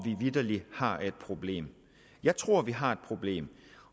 vi vitterlig har et problem jeg tror vi har et problem